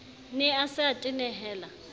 ne a se a tenehela